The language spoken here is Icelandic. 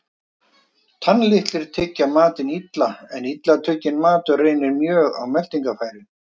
Tannlitlir tyggja matinn illa, en illa tugginn matur reynir mjög á meltingarfæri.